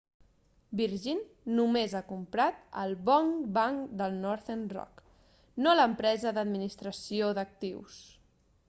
virgin només ha comprat el bon banc' de northern rock no l'empresa d'administració d'actius